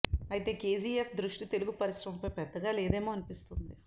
అయితే కేజీ ఎఫ్ దృష్టి తెలుగు పరిశ్రమపై పెద్దగా లేదేమో అనిపిస్తోంది